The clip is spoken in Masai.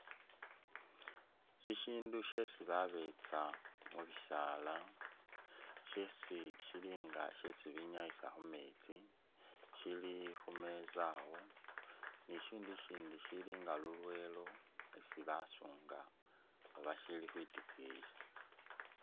Shi shindu shesi babetsa mubisaala, shesi shilinga shesi binyayisa khumetsi shili khu meza awo, ni shi shindu ishindi shilinga lulwelo isi basunga oba shi shili khwitikiyi.